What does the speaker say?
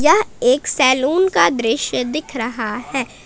यह एक सैलून का दृश्य दिख रहा है।